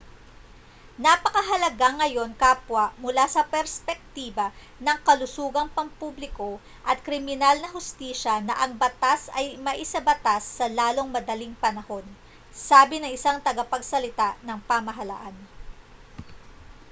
napakahalaga ngayon kapwa mula sa perspektiba ng kalusugang pampubliko at kriminal na hustisya na ang batas ay maisabatas sa lalong madaling panahon sabi ng isang tagapagsalita ng pamahalaan